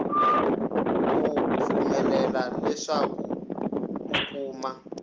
ku pfumelela leswaku u kuma